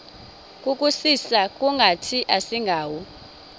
kusisa kungathi asingawo